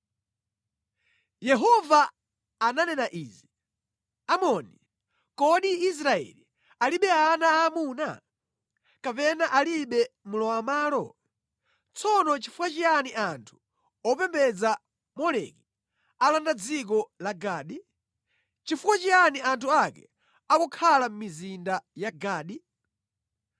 Yehova ananena izi: Amoni, “Kodi Israeli alibe ana aamuna? Kapena alibe mlowamʼmalo? Tsono nʼchifukwa chiyani anthu opembedza Moleki alanda dziko la Gadi? Nʼchifukwa chiyani anthu ake akukhala mʼmizinda ya Gadi?